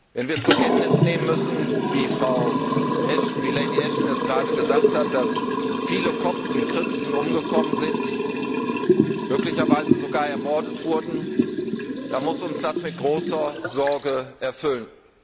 Wenn wir zur Kenntnis nehmen müssen, wie Lady Ashton es gerade gesagt hat, dass viele Kopten und Christen umgekommen sind, möglicherweise sogar ermordet wurden, dann muss uns das mit großer Sorge erfüllen.